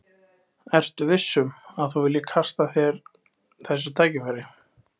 Ertu viss um, að þú viljir kasta frá þér þessu tækifæri?